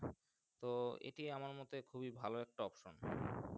তো এটি আমার মোতে খুবই ভালো একটা Opinion